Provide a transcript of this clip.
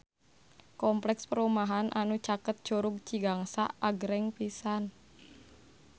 Kompleks perumahan anu caket Curug Cigangsa agreng pisan